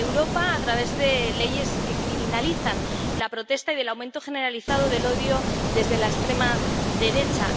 En Europa, a través de leyes que criminalizan la protesta y del aumento generalizado del odio, manifestado en la extrema derecha.